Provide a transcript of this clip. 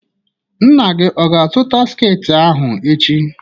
Nna gị ọ ga-azụta sketị ahụ echi?